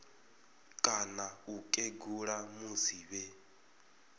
kana u kegula musi vhe